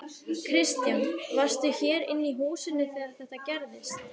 Kristján: Varstu hér inni í húsinu þegar þetta gerðist?